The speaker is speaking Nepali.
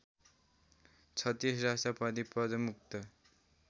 ३६ राष्ट्रपति पदमुक्त